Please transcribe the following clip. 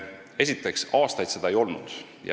Esiteks, aastaid seda fondi üldse ei olnud.